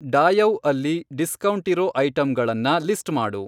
ಡಾಯೌ ಅಲ್ಲಿ ಡಿಸ್ಕೌಂಟಿರೋ ಐಟಮ್ಗಳನ್ನ ಲಿಸ್ಟ್ ಮಾಡು.